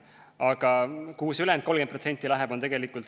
Aga kuhu see ülejäänud 30% läheb?